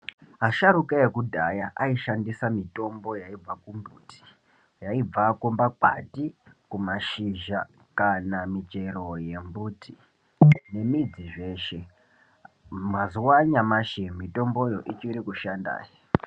Asharuka ekudhaya aishandisa mitombo yaibva kumbuti, yaibva kumakwati, kumashizha, kana michero yembuti nemudzi zveshe. Mazuwa anyamashi mutomboyo ichiri kushanda.